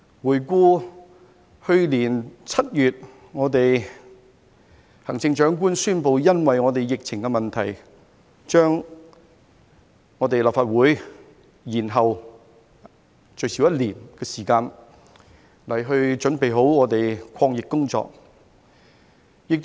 回顧去年7月，行政長官宣布因疫情問題，把立法會換屆選舉延後最少1年時間，以準備抗疫工作。